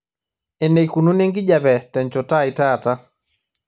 eneikununo enkijiape tenchoto ai taata